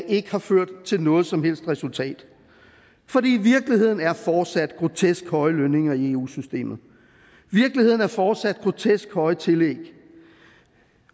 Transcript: ikke har ført til noget som helst resultat for virkeligheden er fortsat grotesk høje lønninger i eu systemet virkeligheden er fortsat grotesk høje tillæg